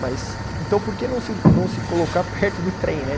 Mas, então por que não se, não se colocar perto do trem, né?